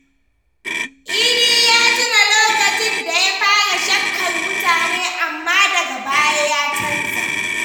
Idi ya tuna lokacin da ya fara shakkar mutane amma daga baya ya canza.